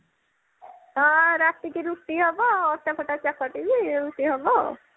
ହଁ ରାତିରେ ରୁଟି ହବ ଅଟା ଫଟା ଚକଟିବି ରୁଟି ହବ ଆଉ